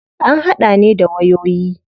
An hada ne da wayoyi.